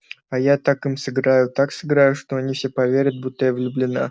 а я так им сыграю так сыграю что они все поверят будто я влюблена